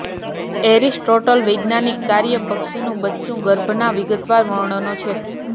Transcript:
Aristotle વૈજ્ઞાનિક કાર્યો પક્ષીનું બચ્ચું ગર્ભના વિગતવાર વર્ણનો છે